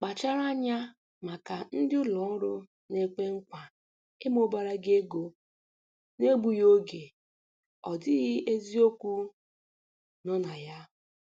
Kpachara anya maka ndị ụlọ ọrụ na-ekwe nkwa ịmụbara gị ego n'egbughị oge, ọ dịghị eziokwu nọ na ya